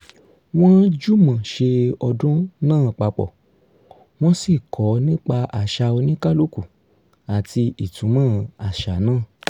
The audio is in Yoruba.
wọ́n jùmọ̀ ṣe ọdún náà papọ̀ wọ́n sì kọ́ nípa àṣà oníkálúkù àti ìtumọ̀ àṣà náà